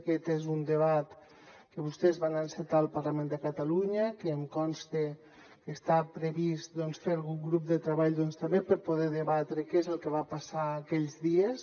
aquest és un debat que vostès van encetar al parlament de catalunya que em consta que està previst fer algun grup de treball també per poder debatre què és el que va passar aquells dies